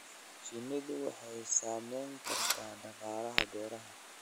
Shinnidu waxay saamayn kartaa dhaqaalaha beeraha.